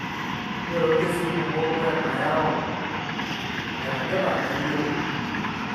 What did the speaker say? Ore toorkesii kumok, ore enayau nairagita nemeyioloi.